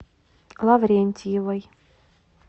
лаврентьевой